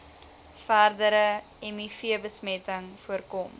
verdere mivbesmetting voorkom